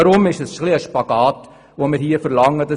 Deshalb verlangen wir hier einen Spagat.